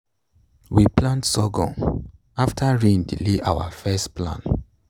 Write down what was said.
we plant sorghum after rain delay our first plan.